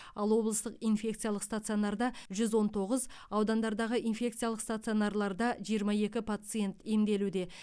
ал облыстық инфекциялық стационарда жүз он тоғыз аудандардағы инфекциялық стационарларда жиырма екі пациент емделуде